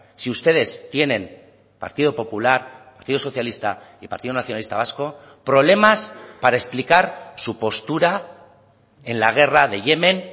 si ustedes tienen partido popular partido socialista y partido nacionalista vasco problemas para explicar su postura en la guerra de yemen